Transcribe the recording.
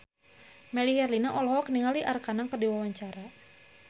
Melly Herlina olohok ningali Arkarna keur diwawancara